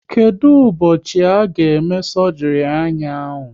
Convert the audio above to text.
Kedụ ụbọchị a ga eme sọgri anya ahụ?